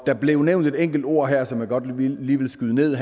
der blev nævnt et enkelt ord her som jeg godt lige vil skyde ned